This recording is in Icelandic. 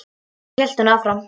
Svo hélt hún áfram: